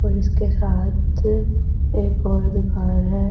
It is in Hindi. और इसके साथ एक और दुकान है।